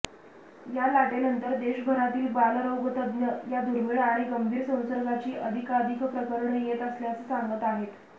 या लाटेनंतर देशभरातील बालरोगतज्ज्ञ या दुर्मीळ आणि गंभीर संसर्गाची अधिकाधिक प्रकरणं येत असल्याचं सांगत आहेत